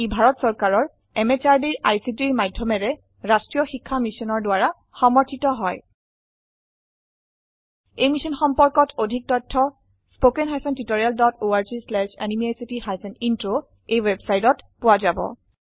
ই ভাৰত চৰকাৰৰ MHRDৰ ICTৰ মাধয়মেৰে ৰাস্ত্ৰীয় শিক্ষা মিছনৰ দ্ৱাৰা সমৰ্থিত হয় এই মিশ্যন সম্পৰ্কত অধিক তথ্য spoken hyphen tutorial dot org slash এনএমইআইচিত হাইফেন ইন্ট্ৰ ৱেবচাইটত পোৱা যাব